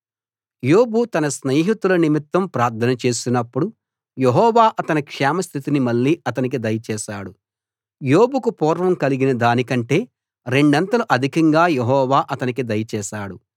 యోబు తన స్నేహితుల నిమిత్తం ప్రార్థన చేసినప్పుడు యెహోవా అతని క్షేమ స్థితిని మళ్ళీ అతనికి దయచేశాడు యోబుకు పూర్వం కలిగిన దానికంటే రెండంతలు అధికంగా యెహోవా అతనికి దయచేశాడు